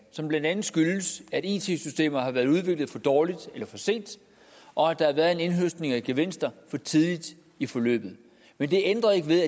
som blandt andet skyldes at it systemer har været udviklet for dårligt eller for sent og at der har været en indhøstning af gevinster for tidligt i forløbet men det ændrer ikke ved